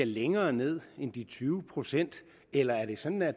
længere ned end de tyve procent eller er det sådan at